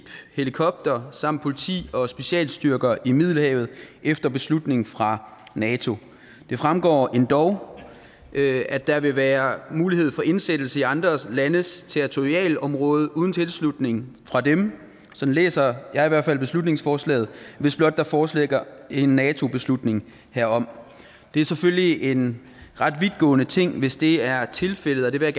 helikopter samt politi og specialstyrker i middelhavet efter beslutning fra nato det fremgår endog at der vil være mulighed for indsættelse i andre landes territorialområde uden tilslutning fra dem sådan læser jeg i hvert fald beslutningsforslaget hvis blot der foreligger en nato beslutning herom det er selvfølgelig en ret vidtgående ting hvis det er tilfældet det vil